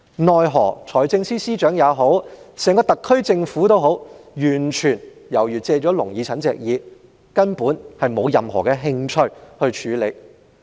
奈何，財政司司長以至整個特區政府皆好像借了"聾耳陳"的耳朵，根本沒有任何興趣處理。